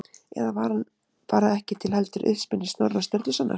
Eða var hann bara ekki til heldur uppspuni Snorra Sturlusonar?